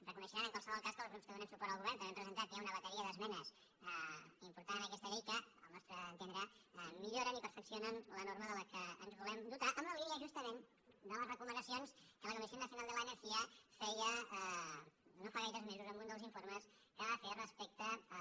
reconeixeran en qualsevol cas que els grups que donem suport al govern també hem presentat ja una bateria d’esmenes importants en aquesta llei que al nostre entendre milloren i perfeccionen la norma de què ens volem dotar en la línia justament de les recomanacions que la comisión nacional de la energía feia no fa gaires mesos en un dels informes que va fer respecte a